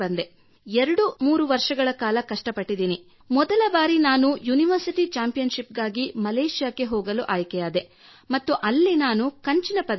23 ವರ್ಷಗಳ ಕಾಲ ಕಷ್ಟಪಟ್ಟೆ ಮತ್ತು ಮೊದಲ ಬಾರಿ ನನ್ನ ಯೂನಿವರ್ಸಿಟಿ ಚಾಂಪಿಯನ್ ಶಿಪ್ ಗಾಗಿ ಮಲೇಷಿಯಾಗೆ ಹೋಗಲು ಆಯ್ಕೆಯಾದೆ ಮತ್ತು ಅಲ್ಲಿ ನಾನು ಕಂಚಿನ ಪದಕ ಗೆದ್ದೆ